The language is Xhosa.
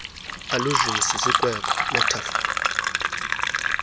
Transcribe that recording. allusion sisiikweko metaphor